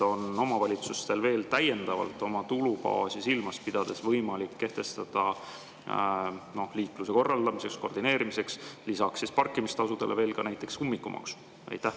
Kas omavalitsustel on täiendavalt oma tulubaasi silmas pidades võimalik kehtestada liikluse korraldamiseks, koordineerimiseks lisaks parkimistasudele veel näiteks ummikumaks?